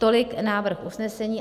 Tolik návrh usnesení.